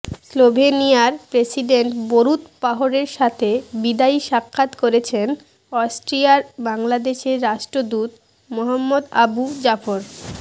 স্লোভেনিয়ার president Borut পাহোরের সাথে বিদায়ী সাক্ষাৎ করেছেন অস্ট্রিয়ায় বাংলাদেশের রাষ্ট্রদূত মোহাম্মদ আবু জাফর